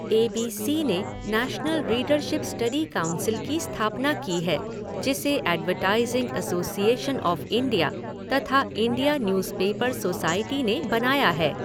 ए B C ने national readership study council की स्थापना की है जिसे एडवर्टाइजिंग एसोसिएशन ऑफ़ इंडिया तथा इंडिया न्यूज़पेपर सोसाइटी ने बनाया है।